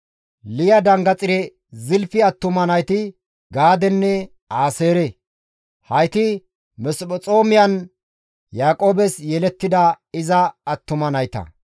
Liya osanchcha Zilfi attuma nayti Gaadenne Aaseere. Hayti Masophexoomyan Yaaqoobes yelettida iza attuma nayta.